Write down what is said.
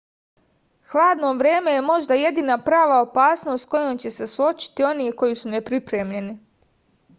hladno vreme je možda jedina prava opasnost s kojom će se suočiti oni koji su nepripremljeni